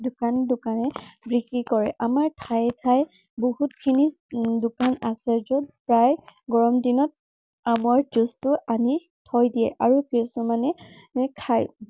দোকানে দোকানে বিক্ৰী কৰে। আমাৰ ঠায়ে ঠায়ে বহুতখিনি উম দোকান আছে, যত প্ৰায়ে গৰম দিনত আমৰ juice টো আনি থৈ দিয়ে আৰু কিছুমানে খায়।